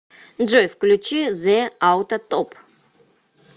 джой включи зэ ауто топ